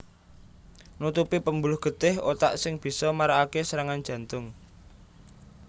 Nutupi pembuluh getih otak sing bisa marakake serangan jantung